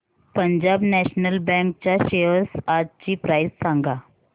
Punjab national bank च्या shares आजची price सांगा